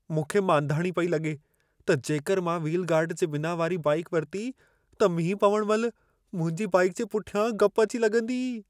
मूंखे मांधाणी पई लॻे त जेकर मां व्हील गार्ड जे बिना वारी बाइक वरिती, त मींहुं पवण महिल मुंहिंजी बाइक जे पुठियां गप अची लॻंदी।